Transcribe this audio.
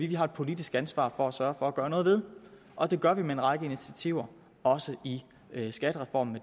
vi har et politisk ansvar for at sørge for at gøre noget ved og det gør vi med en række initiativer også i skattereformen